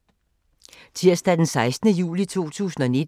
Tirsdag d. 16. juli 2019